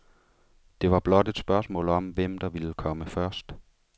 Det var blot et spørgsmål om hvem, der ville komme først.